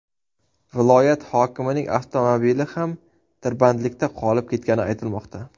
Viloyat hokimining avtomobili ham tirbandlikda qolib ketgani aytilmoqda.